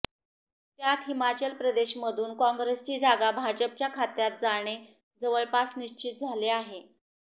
त्यात हिमाचल प्रदेशमधून काँग्रेसची जागा भाजपच्या खात्यात जाणे जवळपास निश्चित झाले आहे